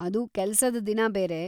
ಅದು ಕೆಲ್ಸದ ದಿನ ಬೇರೆ.